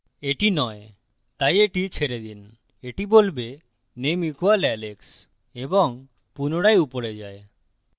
এটি নয় তাই এটি ছেড়ে দিন এটি বলবে name = alex এবং পুনরায় উপরে যায়